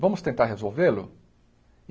Vamos tentar resolvê-lo?